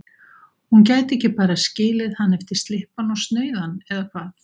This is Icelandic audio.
Hún gæti ekki bara skilið hann eftir slyppan og snauðan, eða hvað?